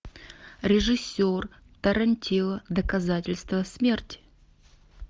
режиссер тарантино доказательство смерти